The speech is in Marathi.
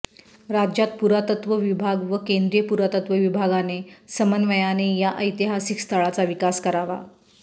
राज्य पुरातत्व विभाग व केंद्रीय पुरातत्व विभागाने समन्वयाने या ऐतिहासिक स्थळाचा विकास करावा